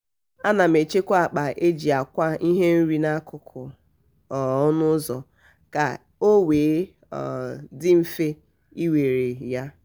ana m echekwa akpa e ji akwa ihe nri n'akụkụ um ọnụ ụzọ ka o wee um dị mfe iwere um ya.